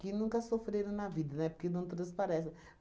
que nunca sofreram na vida, né, porque não transparecem.